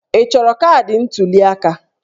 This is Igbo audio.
Ị chọrọ kaadị ntuli aka?